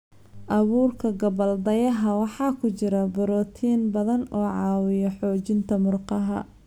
Abuurka gabbaldayaha waxaa ku jira borotiin badan oo caawiya xoojinta murqaha.